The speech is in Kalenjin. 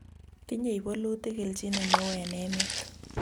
tinyei bolutik kelchin neoo eng' emet